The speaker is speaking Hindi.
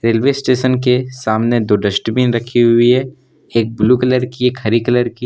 रेलवे स्टेशन के सामने दो डस्टबिन रखी हुई है एक ब्लू कलर की एक हरी कलर की--